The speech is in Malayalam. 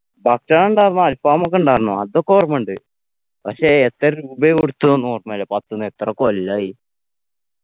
ഭക്ഷണം ഉണ്ടാരുന്നു അൽഫാമൊക്കെ ഉണ്ടാരുന്നു അതൊക്കെ ഓർമ്മയുണ്ട് പക്ഷേ എത്ര രൂപയാ കൊടുത്തന്ന് ഓർമ്മയില്ല പത്ത്ന്ന് എത്ര കൊല്ലായി